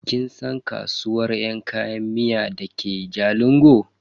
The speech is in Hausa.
Kin san kasuwar yan kayan miya dake jalingo?